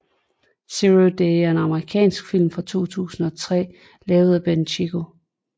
Zero Day er en Amerikansk film fra 2003 lavet af Ben Coccio